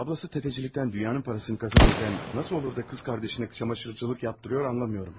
Bacısı sələmçilikdən dünyanın pulunu qazanarkən, necə olur da bacısına paltaryuyanlıq etdirir, anlamıram.